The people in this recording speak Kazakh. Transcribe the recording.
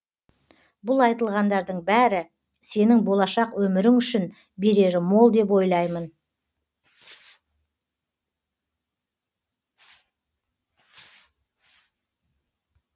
бұл айтылғандардың бәрі сенің болашақ өмірің үшін берері мол деп ойлаймын